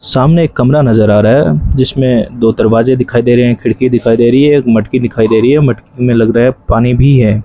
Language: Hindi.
सामने एक कमरा नजर आ रहा है जिसमें दो दरवाजे दिखाई दे रहे हैं एक खिड़की दिखाई दे रही है एक मटकी दिखाई दे रही है मटकी में लग रहा है पानी भी है।